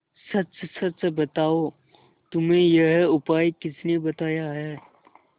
सच सच बताओ तुम्हें यह उपाय किसने बताया है